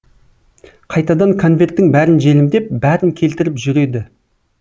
қайтадан конверттің бәрін желімдеп бәрін келтіріп жүреді